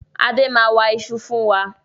Adé máa wa ìṣù fún wa.